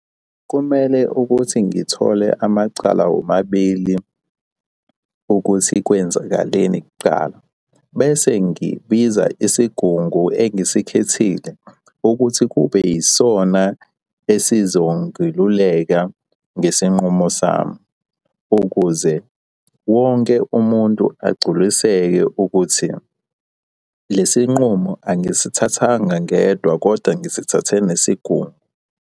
Kumele ukuthi ngithole amacala womabili ukuthi kwenzakaleni kuqala. Bese ngibiza isigungu engisikhethile ukuthi kube yisona esizongeluleka ngesinqumo sami ukuze wonke umuntu agculiseke ukuthi lesi nqumo angisithathanga ngedwa, kodwa ngisithathe nesigungu.